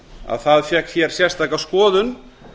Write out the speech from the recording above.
að það fékk sérstaka skoðun